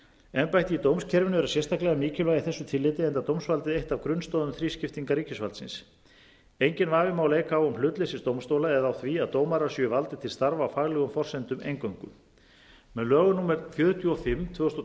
embætti í dómskerfinu eru sérstaklega mikilvæg í þessu tilliti enda dómsvaldið eitt af grunnstoðum þrískiptingar ríkisvaldsins enginn vafi má leika á um hlutleysi dómstóla eða á því að dómarar séu valdir til starfa á faglegum forsendum eingöngu með lögum númer fjörutíu og fimm tvö þúsund og